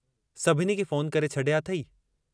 सभिनी खे फ़ोन करे छॾिया अथेई।